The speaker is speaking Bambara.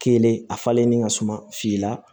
Kelen a falennen ka suma fila